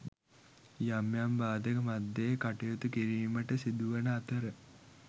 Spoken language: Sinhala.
යම් යම් බාධක මධ්‍යයේ කටයුතු කිරීමට සිදුවන අතර